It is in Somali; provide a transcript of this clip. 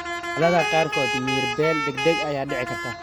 Xaaladaha qaarkood, miyir-beel degdeg ah ayaa dhici karta.